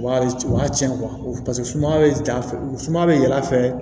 Wari u y'a tiɲɛ paseke suma bɛ ja fɛ u suma bɛ y'a fɛ